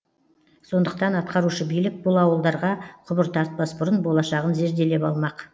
сондықтан атқарушы билік бұл ауылдарға құбыр тартпас бұрын болашағын зерделеп алмақ